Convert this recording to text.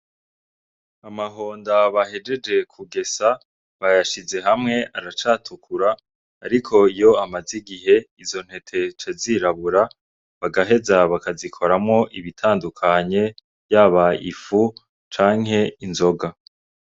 Amahonda bahejeje kugesa, bayashize hamwe aracatukura. Ariko iyo amaze igihe izo ntete zica zirabura, bagaheza bakazikoramwo ibitandukanye, yaba ifu, canke inzoga.